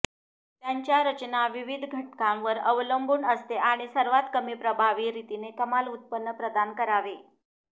त्यांच्या रचना विविध घटकांवर अवलंबून असते आणि सर्वात कमी प्रभावी रीतीने कमाल उत्पन्न प्रदान करावे